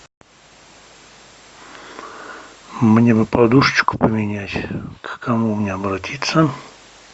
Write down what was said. мне бы подушечку поменять к кому мне обратиться